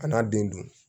A n'a den dun